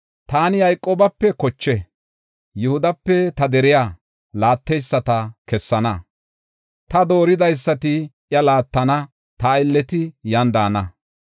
Taani Yayqoobape koche, Yihudape ta deriya laatteyisata kessana; ta dooridaysati iya laattana; ta aylleti yan daana.